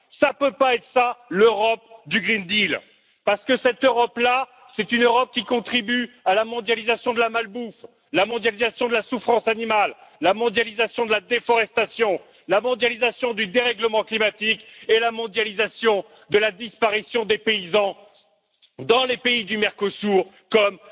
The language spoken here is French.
Cela ne peut pas être ça, l'Europe du pacte vert parce que cette Europe là, c'est une Europe qui contribue à la mondialisation de la malbouffe, la mondialisation de la souffrance animale, la mondialisation de la déforestation, la mondialisation du dérèglement climatique et la mondialisation de la disparition des paysans dans les pays du Mercosur comme